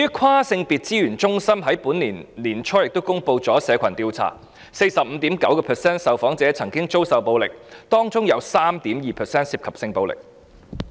跨性別資源中心亦於本年年初公布社群調查，有 45.9% 受訪者曾遭受暴力，當中有 3.2% 涉及性暴力。